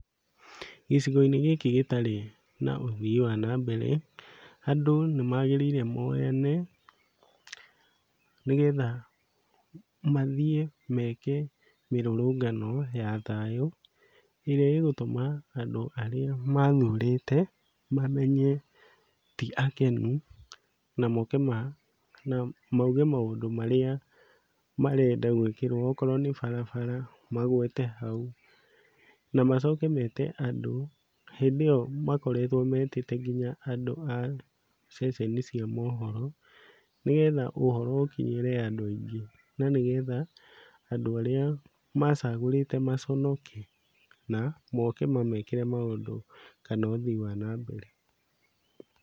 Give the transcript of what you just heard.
Gĩcigo-inĩ gĩkĩ gĩtarĩ na ũthii wa na mbere, andũ nĩmagĩrĩire moyane, nĩgetha mathiĩ meke mĩrũrũngano ya thayũ ĩrĩa ĩgũtũma andũ arĩa mathurĩte mamenye ti akenu, na moke ma na mauge maũndũ marĩa marenda gwĩkĩrwo, okorwo nĩ barabara magwete hau, na macoke mete andũ, hĩndĩ ĩyo makoretwo metĩte andũ nginya a ceceni cia mohoro, nĩgetha ũhoro ũkinyĩre andũ aingĩ, na nĩgetha andũ arĩa macagũrĩte maconoke, na moke mamekĩre maũndũ kana ũthii wa na mbere.